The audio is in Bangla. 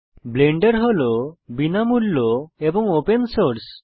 ব্লেন্ডার হল বিনামূল্য এবং ওপেন সোর্স